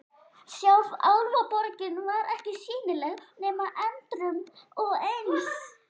Sjálf Álfaborgin var ekki sýnileg nema endrum og eins.